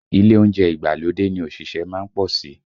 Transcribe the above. Ilé oúnjẹ ìgbàlódé ni òṣìṣẹ́ má ń pọ̀ sí